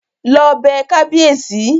Lọ bẹ kábíèsí!